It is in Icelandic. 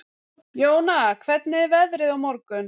Jóna, hvernig er veðrið á morgun?